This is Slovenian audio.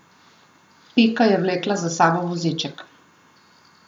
Pika je vlekla za sabo voziček.